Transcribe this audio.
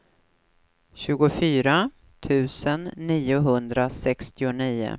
tjugofyra tusen niohundrasextionio